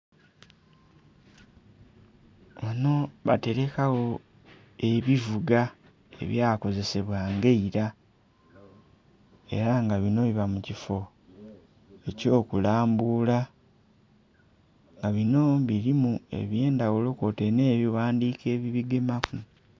Wano batereka gho ebivuga ebya kozisebwa nga eira era nga bino biba mukifoo ekyo kulambula nga bino birimu eby'endhaghulo kwotaire n'ebighandhiko ebibigemaku.